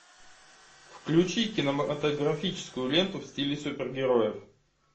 включи кинематографическую ленту в стиле супергероев